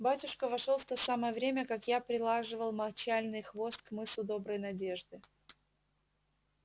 батюшка вошёл в то самое время как я прилаживал мочальный хвост к мысу доброй надежды